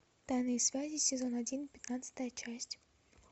тайные связи сезон один пятнадцатая часть